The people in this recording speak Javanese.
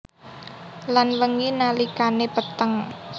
Lan wengi nalikane peteng